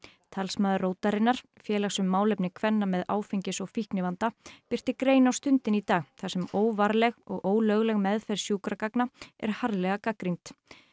talsmaður rótarinnar félags um málefni kvenna með áfengis og fíknivanda birti grein á Stundinni í dag þar sem óvarleg og ólögleg meðferð sjúkragagna er harðlega gagnrýnd